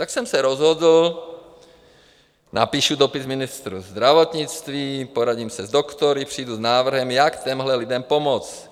Tak jsem se rozhodl, napíšu dopis ministru zdravotnictví, poradím se s doktory, přijdu s návrhem, jak těmhle lidem pomoct.